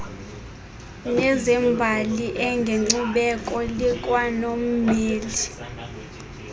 nezembali engenkcubeko likwanommeli